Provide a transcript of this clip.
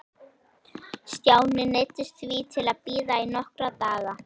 Stjáni neyddist því til að bíða í nokkra daga.